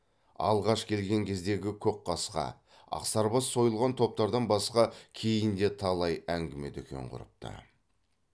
алғаш келген кездегі көкқасқа ақсарбас сойылған топтардан басқа кейін де талай әңгіме дүкен құрыпты